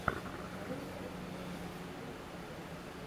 плэй эт хоум на ютьюбе